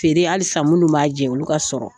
Feere halisa minnu b'a jɛ, olu ka sɔrɔ.